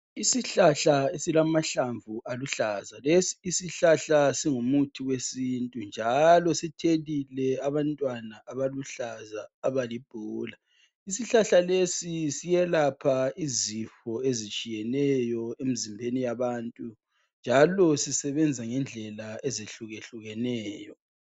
Isihlahla esilamahlamvu aluhlaza. Lesi isihlahla singumuthi wesintu, njalo sithelile abantwana abaluhlaza abalibhola. Isihlahla lesi siyelapha izifo ezitshiyeneyo emzimbeni yabantu, njalo sisebenza ngendlela ezehlukehlukeneyo.